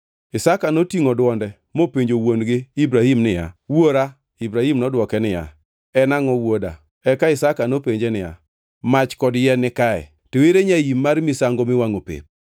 Isaka notingʼo dwonde mopenjo wuon-gi Ibrahim niya, “Wuora?” Ibrahim nodwoke niya, “En angʼo wuoda?” Eka Isaka nopenje niya, “Mach kod yien nikae, to ere nyaim mar misango miwangʼo pep?”